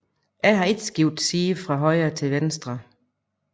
Jeg har ikke skiftet side fra højre til venstre